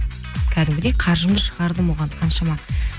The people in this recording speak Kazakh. кәдімгідей қаржымды шығардым оған қаншама